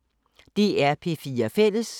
DR P4 Fælles